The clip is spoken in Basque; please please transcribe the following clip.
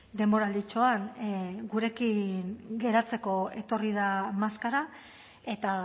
denboralditxoan gurekin geratzeko etorri da maskara eta